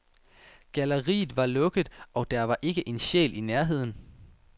Galleriet var lukket, og der var ikke en sjæl i nærheden.